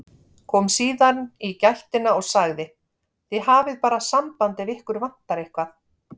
Kom síðan í gættina og sagði: Þið hafið bara samband ef ykkur vantar eitthvað.